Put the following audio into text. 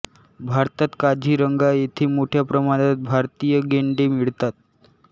भारतात काझीरंगा येथे मोठ्या प्रमाणात भारतीय गेंडे मिळतात